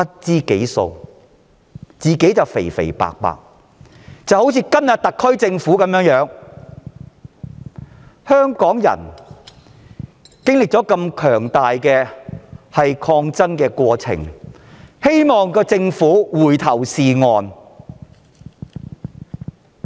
這情況與今天的特區類似，香港人剛經歷強大的抗爭過程，希望政府回頭是岸。